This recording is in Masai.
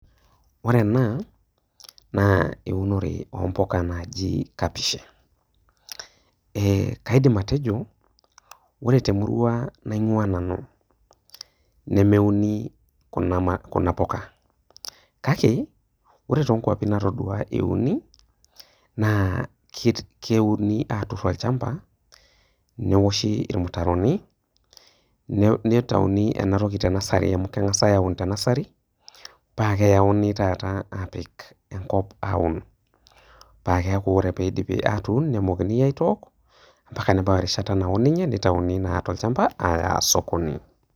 Ore ena naa eunore oo mbuka naaji kapish, kaidim atejo ore temurua naing'ua nanu nemeuni Kuna puka, kake ore too nkwapi natadua euni naa keuni aatur olchamba, neoshi ilmutaroni, neitauni ena toki te nursery amu keng'asi aun ena toki te nursery, paa keyauni taata apik enkop aun, paa keaku ore pee epiki enkop neanyuni peoku mpaka nebau erishata naitayuni naa tolchamba ayaa sokoni.